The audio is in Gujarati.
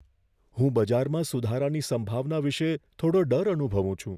હું બજારમાં સુધારાની સંભાવના વિશે થોડો ડર અનુભવું છું.